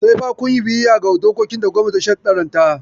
Sai fa kun yi biyayya ga dokokin da gwamnati ta sharɗanta.